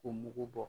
K'o mugu bɔ